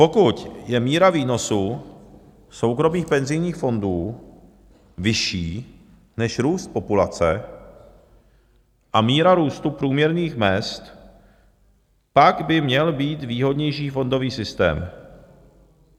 Pokud je míra výnosů soukromých penzijních fondů vyšší než růst populace a míra růstu průměrných mezd, pak by měl být výhodnější fondový systém.